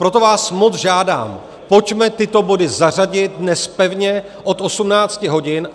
Proto vás moc žádám, pojďme tyto body zařadit dnes pevně od 18 hodin.